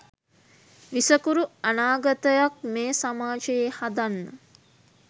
විසකුරු අනාගතයක් මේ සමාජයේ හදන්න